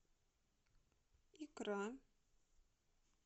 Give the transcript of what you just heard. икра